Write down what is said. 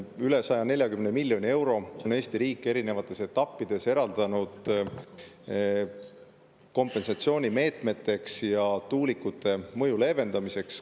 Üle 140 miljoni euro on Eesti riik erinevates etappides eraldanud kompensatsioonimeetmeteks ja tuulikute mõju leevendamiseks.